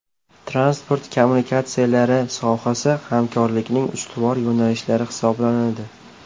Transport kommunikatsiyalari sohasi hamkorlikning ustuvor yo‘nalishlari hisoblanadi.